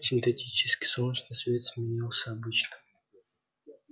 синтетический солнечный свет сменился обычным